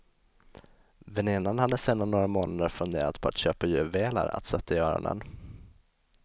Vänninan hade sedan några månader funderat på att köpa juveler att sätta i öronen.